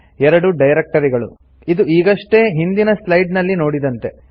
2 ಡೈರೆಕ್ಟರಿಗಳು ಇದು ಈಗಷ್ಟೇ ಹಿಂದಿನ ಸ್ಲೈಡ್ಸ್ ನಲ್ಲಿ ನೋಡಿದಂತೆ